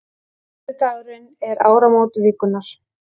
Föstudagurinn er áramót vikunnar.